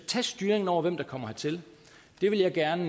tage styringen over hvem der kommer hertil vil jeg gerne